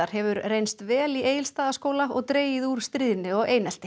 hefur reynst vel í Egilsstaðaskóla og dregið úr stríðni og einelti